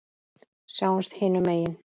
Sjáumst hinum megin.